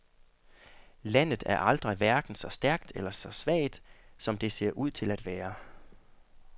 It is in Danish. Landet er aldrig hverken så stærkt eller så svagt, som det ser ud til at være.